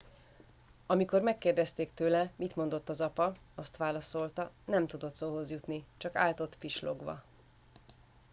"amikor megkérdezték tőle mit mondott az apa azt válaszolta "nem tudott szóhoz jutni - csak állt ott pislogva.""